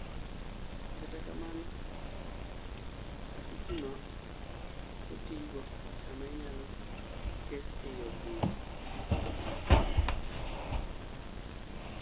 kata kamano kasukuno oko tigo sama iyalo kes ei od bura